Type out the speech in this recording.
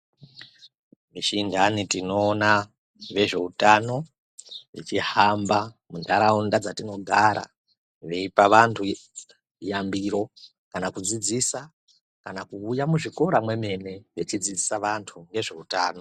Mishindane tinoona nezve utano tichihamba mundaraunda dzatinogara veyipa vandu yambiro kana kudzidzisa kana kuuya muzvikora memwene vechidzidzisa vandu nezveutano.